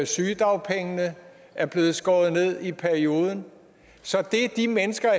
sygedagpengene er blevet skåret ned i perioden så de mennesker